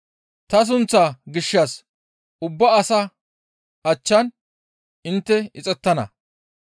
Ta sunththaa gishshas ubba asaa achchan intte ixettana.